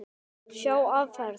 Sjá áferð.